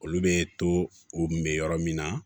Olu bɛ to u kun bɛ yɔrɔ min na